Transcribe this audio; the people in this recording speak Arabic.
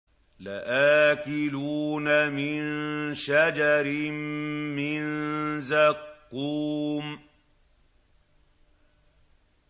لَآكِلُونَ مِن شَجَرٍ مِّن زَقُّومٍ